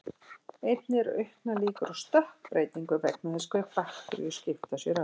Einnig eru auknar líkur á stökkbreytingu vegna þess hve bakteríur skipta sér ört.